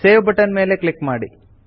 save button ಮೇಲೆ click ಮಾಡಿ